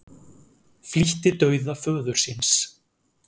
Flýtti dauða föður síns